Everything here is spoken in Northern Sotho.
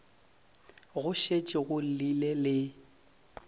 go šetše go llile le